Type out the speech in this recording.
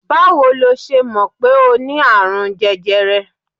Báwo ló ṣe mọ̀ pé o ní àrùn jẹjẹrẹ?